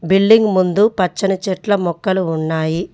Building ముందు పచ్చని చెట్ల మొక్కలు ఉన్నాయి.